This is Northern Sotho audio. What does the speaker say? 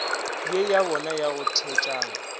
ye yabona ya go thetšana